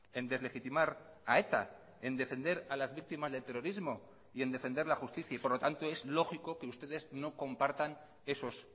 en deslegitimar a eta en defender a las víctimas del terrorismo y en defender la justicia y por lo tanto es lógico que ustedes no compartan esos